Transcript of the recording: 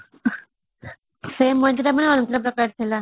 ସେ ମଜା ଟା ପୁଣି ଅଲଗା ପ୍ରକାର ଥିଲା